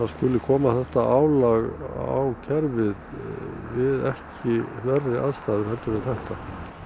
skuli koma álag á kerfið við ekki verri aðstæður en þetta